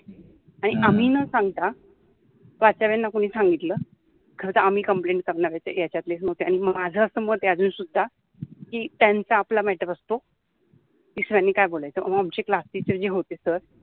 आम्हि न सांगता प्राचार्याना कोनि सांगितल नाहितर आम्हि कम्प्लेंट करनार होतो याच्यातलेच मग, झअस मत आहे अजुनसुद्धा त्यांचा आपला मॅटर असतो दुस्र्यानि काय बोोलायच मंग आमचे क्लासटिचर जे होते सर